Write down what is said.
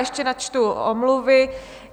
Ještě načtu omluvy.